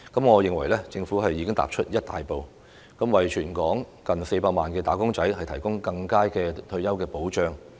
我認為政府已踏出一大步，為全港近400萬"打工仔"提供更佳的退休保障。